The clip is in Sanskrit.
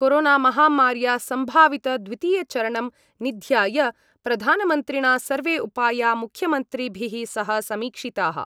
कोरोनामहामार्या सम्भावितद्वितीयचरणं निध्याय प्रधानमन्त्रिणा सर्वे उपाया मुख्यमंत्रिभिः सह समीक्षिताः।